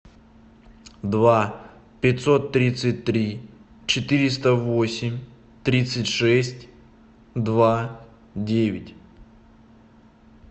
два пятьсот тридцать три четыреста восемь тридцать шесть два девять